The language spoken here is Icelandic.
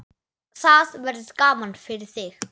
Það verður gaman fyrir þig.